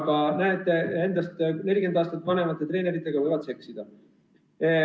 Aga näete, endast 40 aastat vanemate treeneritega võib seksida.